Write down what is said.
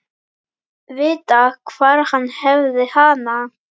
Vita hvar hann hefði hana.